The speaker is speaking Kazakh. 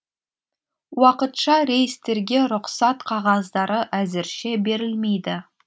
уақытша рейстерге рұқсат қағаздары әзірше берілмейді